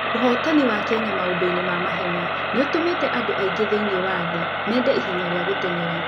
Ũhootani wa Kenya maũndũ-inĩ ma mahenya nĩ ũtũmĩte andũ aingĩ thĩinĩ wa thĩ mende ihenya rĩa gũteng'era.